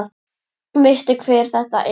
Veistu hver þetta er?